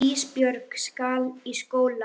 Ísbjörg skal í skóla.